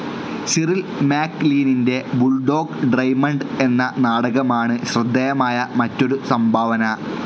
Cyril മാക്നീലിൻ്റെ Bulldog Drummond എന്ന നാടകമാണ് ശ്രദ്ധയമായ മറ്റൊരു സംഭാവന.